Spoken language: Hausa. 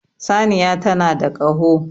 Saniya tana da Kaho